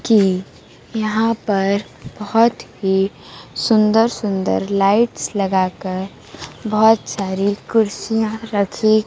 कि यहां पर बहुत ही सुंदर सुंदर लाइट्स लगा कर बहुत सारी कुर्सियां रखी--